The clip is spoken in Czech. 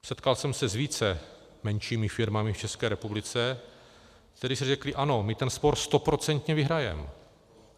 Setkal jsem se s více menšími firmami v České republice, které si řekly ano, my ten spor stoprocentně vyhrajeme.